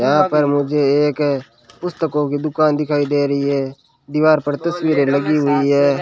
यहां पर मुझे एक पुस्तकों की दुकान दिखाई दे रही है दीवार पर तस्वीरें लगी हुई है।